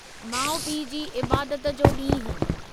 माउ पीउ जी इबादत जो ॾींहुं